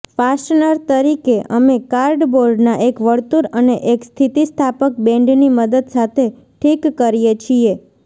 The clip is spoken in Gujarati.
ફાસ્ટનર તરીકે અમે કાર્ડબોર્ડના એક વર્તુળ અને એક સ્થિતિસ્થાપક બેન્ડની મદદ સાથે ઠીક કરીએ છીએ